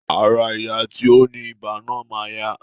Ará ìyá tí ó ní ibà náà máa yá